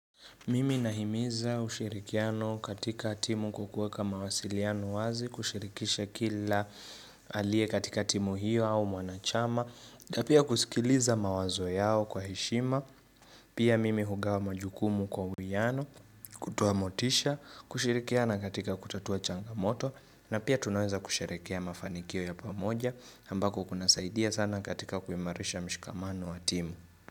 Mimi nahimiza ushirikiano katika timu kwa kuweka mawasiliano wazi, kushirikisha kila aliye katika timu hiyo au mwanachama, na pia kusikiliza mawazo yao kwa heshima, pia mimi hugawa majukumu kwa uwiyano, kutoa motisha, kushirikiana katika kutatua changamoto, na pia tunaweza kusherehekea mafanikio ya pamoja, ambako kuna saidia sana katika kuimarisha mshikamano wa timu.